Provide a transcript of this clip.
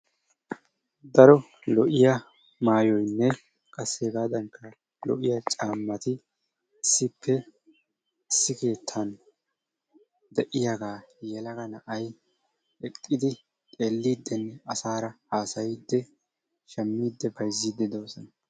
Daro lo"iyaa maayoynne qassi hegaadankka lo"iyaa caammati issippe issi keettan de'iyaagaa yelaga na'ay eqqidi xeellidinne asaara hasaayidi shaammidi bayzzidi doosona.